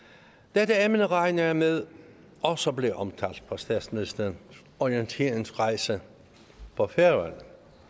dette emne regner jeg med også blev omtalt på statsministerens orienteringsrejse på færøerne